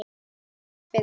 Hvers vegna spyrðu?